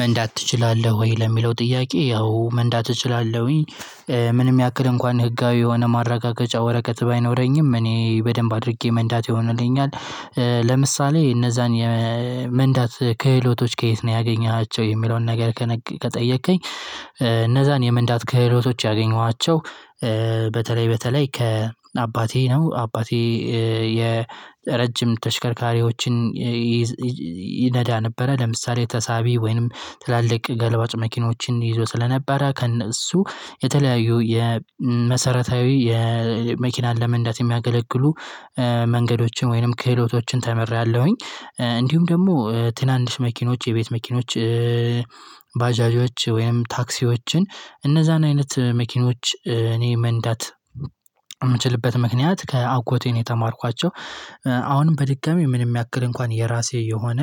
መንዳት እችላለሁ ወይ? ለሚለው ጥያቄ አዎ መንዳት እችላለሁኝ። ምንም ያክል እንኳን ህጋዊ የሆነ ማረጋገጫ ወረቀት ባይኖረኝም እኔ በደንብ አድርጌ መንዳት የሆነልኝ። ለምሳሌ እነዛን የመንዳት ክህሎቶች ከየት ነው ያገኘሃቸው የሚለውን ነገር? ከጠየከኝ እነዛን የመንዳት ክህሎቶች ያገኘኋቸው። በተለይ በተለይ ከአባቴ ነው አባቴ የረጅም ተሽከርካሪዎችን ይነዳ ነበረ። ለምሳሌ ተሳቢ ወይንም ትላልቅ ገልባጭ መኪናዎችን ይዞ ስለነበረ ከእነሱ የተለያዩ የመሰረታዊ የመኪና ለመንዳት የሚያገለግሉ መንገዶችን ወይንም ክህሎቶችን ተምሬያለሁኝ። እንዲሁም ደግሞ ትናንሽ መኪኖች የቤት መኪኖች ባጃጆች ወይንም ታክሲዎችን እነዛን አይነት መኪኖች እኔ መንዳት የምችልበት ምክንያት ከአጎቴ ነው የተማርኳቸው። አሁንም በድጋሚ ምንም ያክል እንኳን የራሴ የሆነ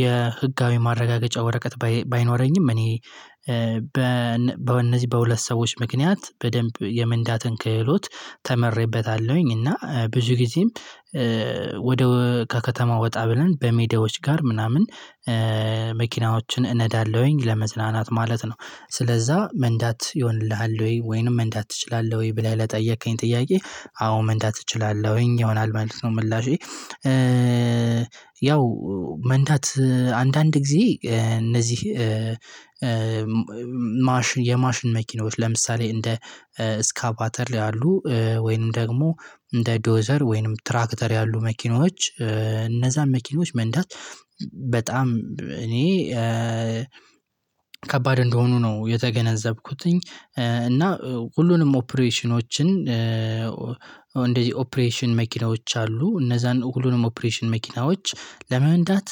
የህጋዊ ማረጋገጫ ወረቀት ባይኖረኝም እኔ በእነዚህ በሁለት ሰዎች ምክንያት በደንብ የመንዳትን ክህሎት ተመርበታለሁኝ። እና ብዙ ጊዜም ከከተማ ወጣ ብለን በሜዳዎች ጋር ምናምን መኪናዎችን እነዳለሁኝ ለመዝናናት ማለት ነው። ስለዛ መንዳት ይሆንልሃል ወይ ወይንም መንዳት ትችላለህ ወይ ብለህ ለጠየከኝ ጥያቄ? አዎ መንዳት እችላለሁኝ ይሆናል ማለት ነው ምላሼ። ያው መንዳት አንዳንድ ጊዜ እነዚህ የማሽን መኪኖች ለምሳሌ እንደ እስካባተር ያሉ ወይንም ደግሞ እንደ ዶዘር ወይንም ትራክተር ያሉ መኪኖች እነዛን መኪኖች መንዳት በጣም እኔ ከባድ እንደሆኑ ነው የተገነዘብኩትኝ። እና ሁሉንም ኦፕሬሽኖችን ኦፕሬሽን መኪናዎች አሉ እነዛን ሁሉንም ኦፕሬሽን መኪናዎች ለመንዳት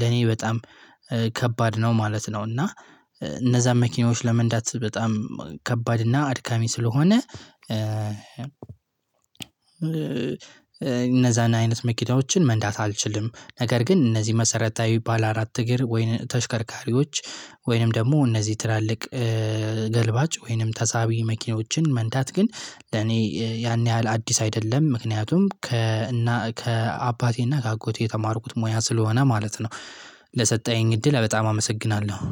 ለኔ በጣም ከባድ ነው ማለት ነው። እና እነዛን መኪናዎች ለመንዳት በጣም ከባድ እና አድካሚ ስለሆነ እነዛን አይነት መኪናዎችን መንዳት አልችልም። ነገር ግን እነዚህ መሰረታዊ ባለ አራት እግር ወይን ተሽከርካሪዎች ወይንም ደግሞ እነዚህ ትላልቅ ገልባጭ ወይንም ተሳቢ መኪናዎችን መንድት ግን ለኔ ያን ያህል አዲስ አይደለም ምክንያቱም ከእና ከአባቴና ከአጎቴ የተማርኩት ሙያ ስለሆነ ማለት ነው። ለሰጠኸኝ እድል በጣም አመሰግናለሁ